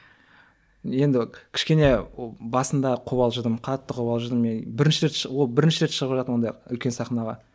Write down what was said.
енді кішкене басында қобалжыдым қатты қобалжыдым мен бірінші рет шығу ол бірінші рет шығып ондай үлкен сахнаға